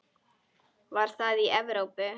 Var það í Evrópu?